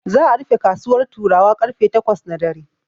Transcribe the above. Za'a rufe kasuwar Turawa karfe takwas na dare.